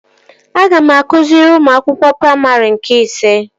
Aga m akụziri ụmụ akwụkwọ praimarị nke ise